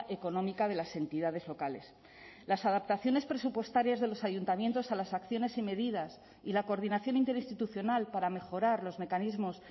económica de las entidades locales las adaptaciones presupuestarias de los ayuntamientos a las acciones y medidas y la coordinación interinstitucional para mejorar los mecanismos